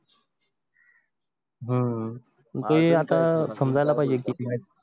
हम्म ते आता